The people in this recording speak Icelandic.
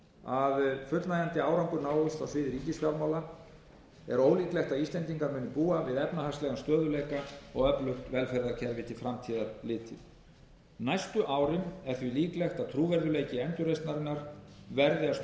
að fullnægjandi árangur náist á sviði ríkisfjármála er ólíklegt að íslendingar muni búa við efnahagslegan stöðugleika og öflugt velferðarkerfi til framtíðar litið næstu árin er því líklegt að trúverðugleiki endurreisnarinnar verði að